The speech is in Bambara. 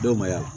Dɔw ma